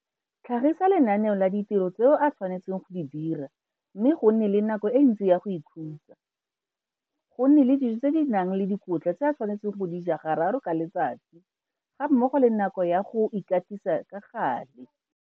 Tlhagisa lenaneo la ditiro tse a tshwanetseng go di dira mme go nne le nako e ntsi ya go ikhutsa, go nne le dijo tse di nang le dikotla tse a tshwanetseng go di ja gararo ka letsatsi gammogo le nako ya go ikatisa ka gale.